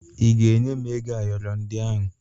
Ị ga-enye m ego ayọrọ ndị ahụ?